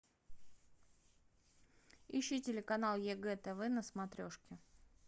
ищи телеканал егэ тв на смотрешке